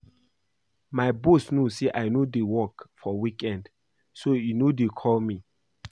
My boss no say I no dey work for weekend so e no dey call me